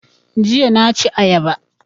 Jiya na ci ayaba